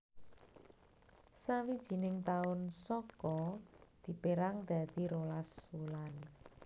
Sawijining taun Saka dipérang dadi rolas wulan